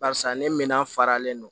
Barisa ne minan faralen no